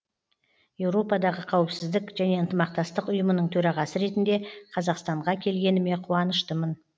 еуропадағы қауіпсіздік және ынтымақтастық ұйымының төрағасы ретінде қазақстанға келгеніме қуаныштымын